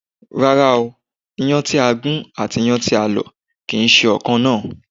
Rárá o, Iyán tí a gún àti iyán tí a lò kìí ṣe ọ̀ kan náà